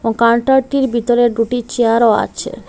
কান্টারটির ভিতরে দুটি চেয়ারও আছে।